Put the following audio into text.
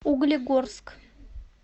углегорск